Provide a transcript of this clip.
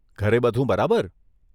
ઘરે બધું બરાબર?